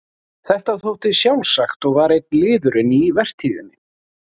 Þetta þótti sjálfsagt og var einn liðurinn í vertíðinni.